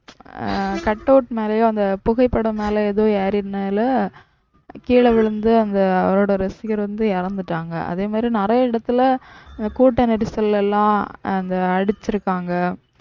ஆஹ் cutout மேலேயோ அந்த புகைப்படம் மேலே ஏதோ ஏறிதனால கீழ விழுந்து அந்த அவரோட ரசிகர் வந்து இறந்துட்டாங்க. அதே மாதிரி நிறைய இடத்துல கூட்ட நெரிசல்ல எல்லாம் அந்த அடிச்சிருக்காங்க